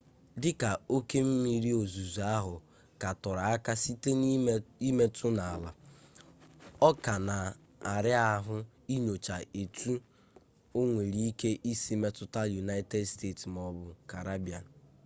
dị ka oke mmiri ozuzo ahụ ka toro aka site n'imetụ n'ala ọ ka na-ara ahụ inyocha etu o nwere ike isi metụta united states ma ọ bụ caribbean